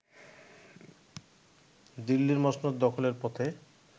দিল্লির মসনদ দখলের পথে